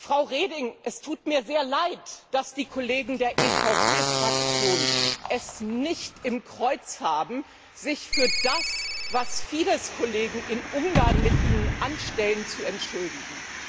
Frau Reding, es tut mir sehr leid, dass die Kollegen der EVP Fraktion es nicht im Kreuz haben, sich für das, was Fidesz Kollegen in Ungarn mit Ihnen anstellen, zu entschuldigen.